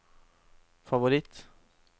favoritt